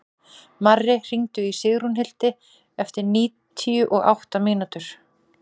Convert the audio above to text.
Marri, hringdu í Sigrúnhildi eftir níutíu og átta mínútur.